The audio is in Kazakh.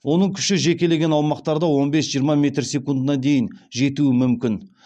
оның күші жекелеген аумақтарда он бес жиырма метр секундына дейін жетуі мүмкін